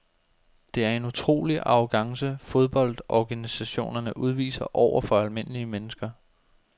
Det er en utrolig arrogance fodboldorganisationerne udviser over for almindelige mennesker.